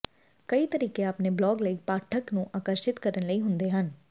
ਕਈ ਤਰੀਕੇ ਆਪਣੇ ਬਲੌਗ ਲਈ ਪਾਠਕ ਨੂੰ ਆਕਰਸ਼ਿਤ ਕਰਨ ਲਈ ਹੁੰਦੇ ਹਨ